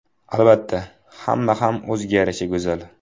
Albatta, hamma ham o‘ziga yarasha go‘zal.